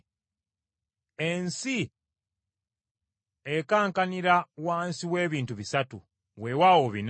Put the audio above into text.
Ensi ekankanira wansi w’ebintu bisatu weewaawo bina: